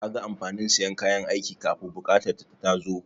Kaga amfanin sayan kayan aiki kafun buƙatar ta ta tazo?